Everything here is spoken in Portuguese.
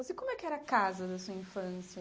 Mas e como é que era a casa da sua infância?